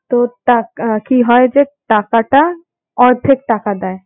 তো তাক~ কি হয় যে টাকাটা অর্ধেক টাকা দেয়।